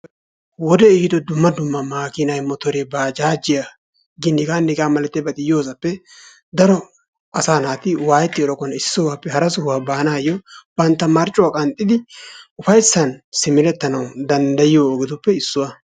wodee ehiido dumma dumma makiinay motoree baajajiyanne hegaanne hegaa malatiyabati yoosappe daro asa naati waayetiyogappe issi sohuwappe hara sohuwa baanasi banta marccuwa qaxxidi ufaysan simeretana danddayiyo ogetuppe issiwa